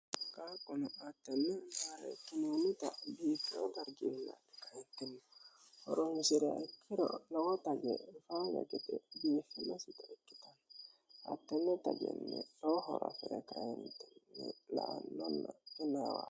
Qaaqunno hattenne maarekinonitta biifoo dariggini lae kaentini horonisi're ikkiro lowo tajje faaya gede biiffinosita ikkitanno hattenne tajjenni lowo hora afire kaentini la'annonna qunawanno